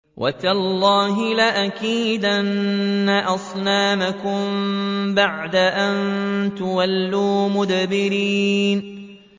وَتَاللَّهِ لَأَكِيدَنَّ أَصْنَامَكُم بَعْدَ أَن تُوَلُّوا مُدْبِرِينَ